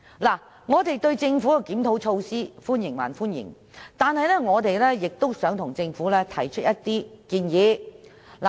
儘管我們歡迎政府的檢討措施，但我們亦想向政府提出一些建議。